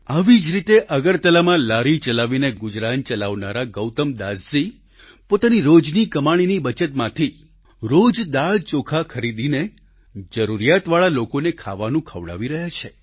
આવી જ રીતે અગરતલામાં લારી ચલાવીને ગુજરાન ચલાવનારા ગૌતમદાસજી પોતાની રોજની કમાણીની બચતમાંથી રોજ દાળચોખા ખરીદીને જરૂરિયાતવાળા લોકોને ખાવાનું ખવડાવી રહ્યા છે